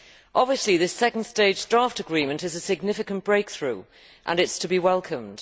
Obviously, this second stage draft agreement is a significant breakthrough and is to be welcomed.